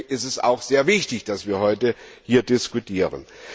Deswegen ist es auch sehr wichtig, dass wir heute hier diskutieren.